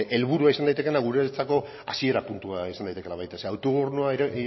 helburua izan daitekeena guretzako hasiera puntua izan daitekeela zeren